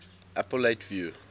appellate review